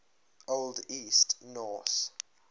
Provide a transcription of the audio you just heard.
old east norse